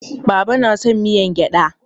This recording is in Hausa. Baba na son miyar gyada.